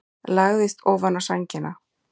Lagðist ofaná sængina.